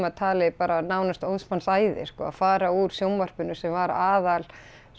talið nánast óðs manns æði sko að fara úr sjónvarpinu sem var aðal